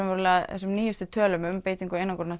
þessum nýjustu tölum um beitingu einangrunar